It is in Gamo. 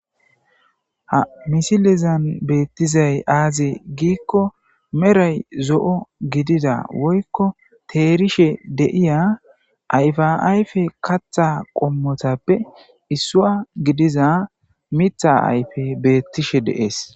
Ha misilezan betizay aze gikko medhay zo'o gidida woyko terishe de'iya ayfa ayfe katha qommotappe issuwa gidiza mitha afey betishe de'ese